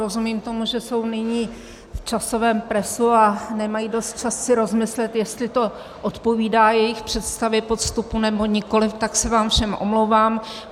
Rozumím tomu, že jsou nyní v časovém presu a nemají dost času si rozmyslet, jestli to odpovídá jejich představě postupu, nebo nikoliv, tak se vám všem omlouvám.